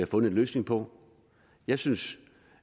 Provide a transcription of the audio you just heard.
fundet en løsning på jeg synes